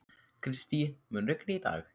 Kristý, mun rigna í dag?